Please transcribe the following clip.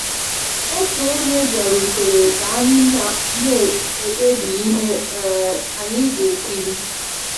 Otu onye bịarutere ka anyị na-ekpebi ihe um anyị ga-ekiri.